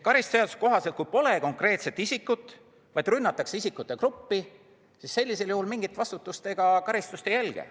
Karistusseadustiku kohaselt, kui pole konkreetset isikut, vaid rünnatakse isikute gruppi, siis sellisel juhul mingit vastutust ega karistust ei järgne.